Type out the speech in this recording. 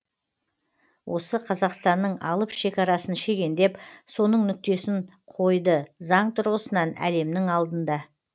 осы қазақстанның алып шекарасын шегендеп соның нүктесін қойды заң тұрғысынан әлемнің алдында